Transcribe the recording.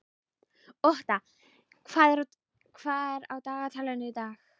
Otta, hvað er á dagatalinu í dag?